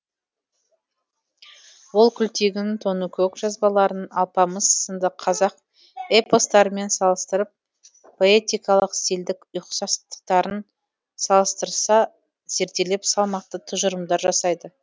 ол күлтегін тоныкөк жазбаларын алпамыс сынды қазақ эпостарымен салыстырып поэтикалық стильдік ұқсастықтарын салыстырса зерделеп салмақты тұжырымдар жасайды